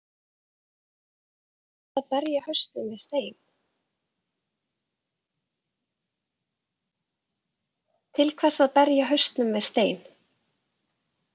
Til hvers að berja hausnum við stein?